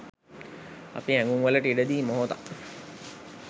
අපි හැඟුම්වලට ඉඩ දී මොහොතක්